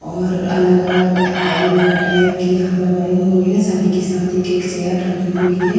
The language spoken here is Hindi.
और अलग-अलग अलमीरा टाइप की यहाँ पर बनी हुई है। सभी के साथ एक-एक चेयर रखी हुई है।